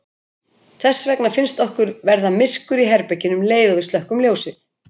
Þess vegna finnst okkur verða myrkur í herberginu um leið og við slökkvum ljósið.